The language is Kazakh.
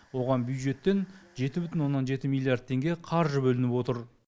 оған бюджеттен жеті бүтін оннан жеті миллиард теңге қаржы бөлініп отыр